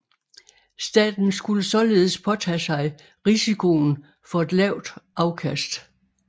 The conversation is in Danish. Staten skulle således påtage sig risikoen for et lavt afkast